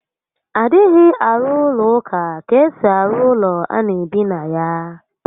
A dịghị arụ ụlọ ụka ka esi arụ ụlọ ana ebi ebi na ya